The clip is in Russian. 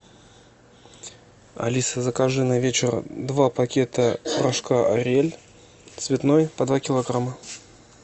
алиса закажи на вечер два пакета порошка ариэль цветной по два килограмма